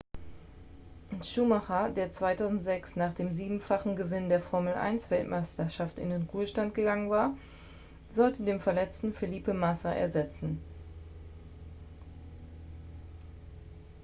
schumacher der 2006 nach dem siebenfachen gewinn der formel-1-weltmeisterschaft in den ruhestand gegangen war sollte den verletzten felipe massa ersetzen